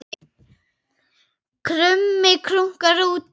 Krummi krunkar úti